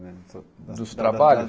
Dos trabalhos?